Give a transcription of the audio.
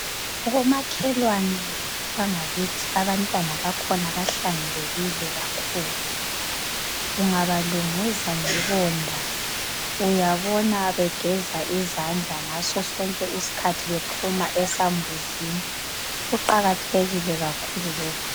komakhelwane bangakithi abantwana bakhona bahlanzekile kakhulu ungabalunguza ngebonda uyabathola begeza izandla njalo nxa bephuma esambuzini